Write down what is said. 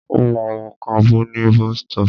Ó ma wọ kábù ní bestọ́pù.